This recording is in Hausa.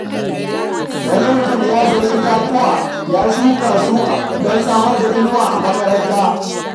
Wani mutum ya sayi itatuwa ya shuka su don samar da inuwa a makabarta.